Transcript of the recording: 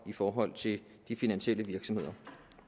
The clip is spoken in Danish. i forhold til de finansielle virksomheder